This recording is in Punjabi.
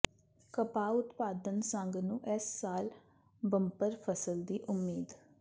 ਕਪਾਹ ਉਤਪਾਦਨ ਸੰਘ ਨੂੰ ਇਸ ਸਾਲ ਬੰਪਰ ਫ਼ਸਲ ਦੀ ਉਮੀਦ